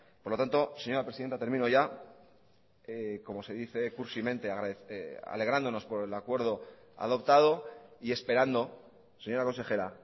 por lo tanto señora presidenta termino ya como se dice cursimente alegrándonos por el acuerdo adoptado y esperando señora consejera